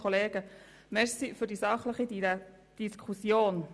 Vielen Dank für die sachliche Diskussion.